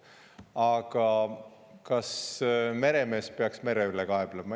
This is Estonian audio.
Aga kas meremees peaks mere üle kaeblema?